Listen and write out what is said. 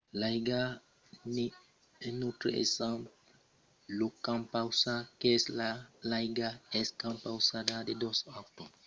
l’aiga n’es un autre exemple. lo compausat qu'es l'aiga es compausada de dos atòms d’idrogèn e d’un atòm d’oxigèn